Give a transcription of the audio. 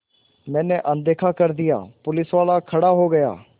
मैंने अनदेखा कर दिया पुलिसवाला खड़ा हो गया